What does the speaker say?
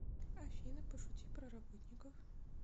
афина пошути про работников